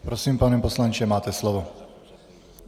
Prosím, pane poslanče, máte slovo.